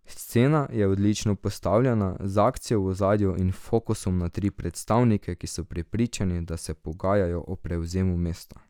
Scena je odlično postavljena, z akcijo v ozadju in fokusom na tri predstavnike, ki so prepričani, da se pogajajo o prevzemu mesta.